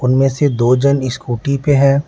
उनमें से दो झन स्कूटी पे हैं।